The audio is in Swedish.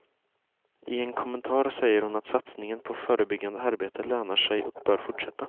I en kommentar säger hon att satsningen på förbyggande arbete lönar sig och bör fortsätta.